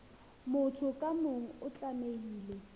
motho ka mong o tlamehile